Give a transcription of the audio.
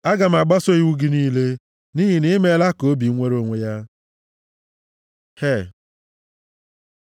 Aga m agbaso iwu gị niile nʼihi na i meela ka obi m nwere onwe ya. ה He